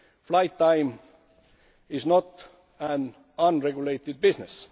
Flight time is not an unregulated business.